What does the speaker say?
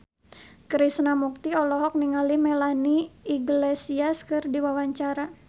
Krishna Mukti olohok ningali Melanie Iglesias keur diwawancara